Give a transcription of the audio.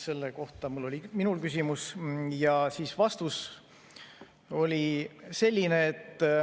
Selle kohta oli minul küsimus ja vastus oli selline.